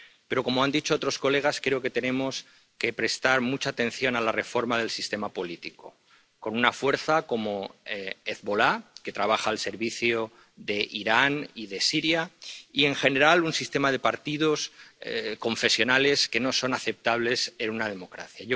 Pero, como han dicho otras de sus señorías, creo que tenemos que prestar mucha atención a la reforma del sistema político, con una fuerza como Hezbolá, que trabaja al servicio de Irán y de Siria y, en general, un sistema de partidos confesionales que no son aceptables en una democracia.